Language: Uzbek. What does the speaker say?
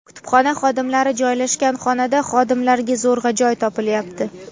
Kutubxona xodimlari joylashgan xonada xodimlarga zo‘rg‘a joy topilyapti.